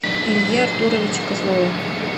илье артуровиче козлове